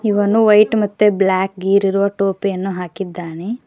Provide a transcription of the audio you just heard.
ಇವನು ವೈಟ್ ಮತ್ತೆ ಬ್ಲಾಕ್ ಗೀರ್ ಇರುವ ಟೋಪಿಯನ್ನು ಹಾಕಿದ್ದಾನೆ.